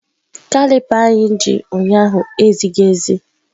Kalịpa anyị ji ụnyaahụ ezighi ezi.